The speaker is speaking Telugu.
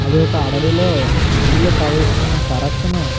అది ఒక అడవిలో నీళ్లు ప్రవహిస్తున్న సరసును --